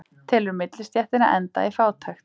Telur millistéttina enda í fátækt